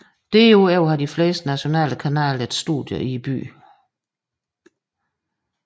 Derudover har de fleste nationale kanaler et studie i byen